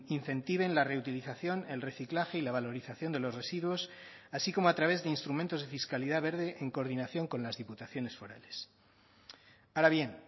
incentiven la reutilización el reciclaje y la valorización de los residuos así como a través de instrumentos de fiscalidad verde en coordinación con las diputaciones forales ahora bien